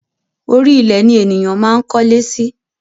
Orí ilẹ̀ ni ènìyàn máa ń kólé sí